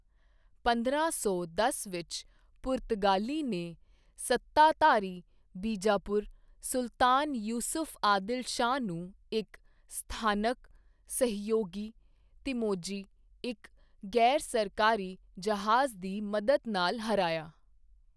ਪੰਦਰਾਂ ਸੌ ਦਸ ਵਿੱਚ, ਪੁਰਤਗਾਲੀ ਨੇ ਸੱਤਾਧਾਰੀ ਬੀਜਾਪੁਰ ਸੁਲਤਾਨ ਯੂਸਫ ਆਦਿਲ ਸ਼ਾਹ ਨੂੰ ਇੱਕ ਸਥਾਨਕ ਸਹਿਯੋਗੀ, ਤਿਮੋਜੀ, ਇੱਕ ਗ਼ੈਰ ਸਰਕਾਰੀ ਜਹਾਜ਼ ਦੀ ਮਦਦ ਨਾਲ ਹਰਾਇਆ।